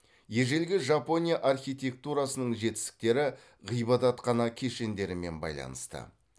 ежелгі жапония архитектурасының жетістіктері ғибадатхана кешендерімен байланысты